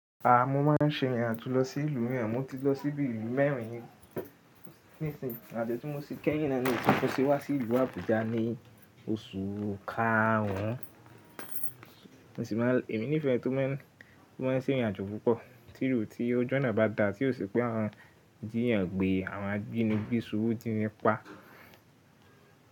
Mo máa ń ṣe ìrìnàjò lọ sí ìlú mìíràn, mo ti lọ sí bí i ìlú mẹ́rin nísinsìnyí ìrìn àjò tí mo ṣe kẹ́yìn náà ni èyí tí mo ṣe wá sí ìlú Àbújá ní oṣù karùn ún, èmi nífẹ̀ẹ́ ẹni tó máa ń ṣe ìrìnàjò púpọ̀, tì óò tí ọjọ́ oná bá dà tí ó ṣe pé àwọn jiyàn gbé àwọn àjínigbé sowo ji ni pa.